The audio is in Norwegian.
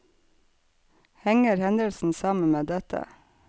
Henger hendelsen sammen med dette?